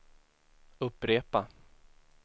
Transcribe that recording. upprepa